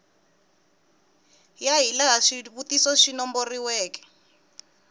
ya hilaha swivutiso swi nomboriweke